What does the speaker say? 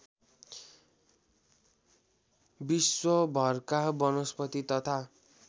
विश्वभरका वनस्पति तथा